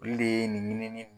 Bile de ye nin ɲinim.